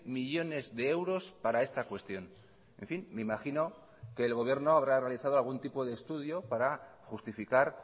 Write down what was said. millónes de euros para esta cuestión en fin me imagino que el gobierno habrá realizado algún tipo de estudio para justificar